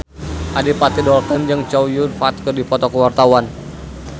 Adipati Dolken jeung Chow Yun Fat keur dipoto ku wartawan